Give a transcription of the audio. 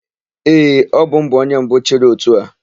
Ee, ọbụ m bụ onye mbụ chịrị ótù a.